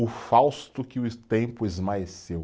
O fausto que o tempo esmaeceu.